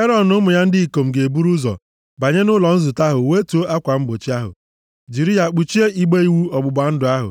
Erọn na ụmụ ya ndị ikom ga-eburu ụzọ banye nʼụlọ nzute ahụ wetuo akwa mgbochi ahụ, jiri ya kpuchie igbe iwu ọgbụgba ndụ ahụ.